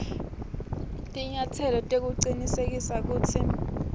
tinyatselo tekucinisekisa kutsi